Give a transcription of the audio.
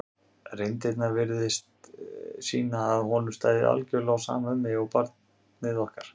reyndirnar virtust sýna að honum stæði algjörlega á sama um mig og barnið okkar.